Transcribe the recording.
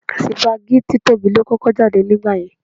Sípágì títóbi ló kọ́kọ́ jáde nígbà yẹn.